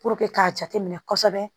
k'a jate minɛ kosɛbɛ